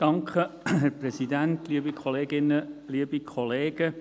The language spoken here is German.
Kommissionspräsident der GPK.